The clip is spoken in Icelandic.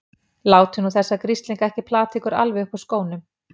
Látið nú þessa grislinga ekki plata ykkur alveg upp úr skónum!